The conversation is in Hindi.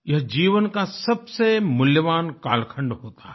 यह जीवन का सबसे मूल्यवान कालखंड होता है